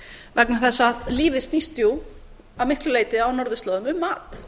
vegna þess að lífið snýst jú að miklu leyti á norðurslóðum um mat